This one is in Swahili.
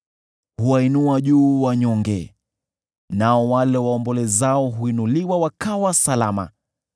Huwainua juu wanyonge, nao wale waombolezao huinuliwa wakawa salama.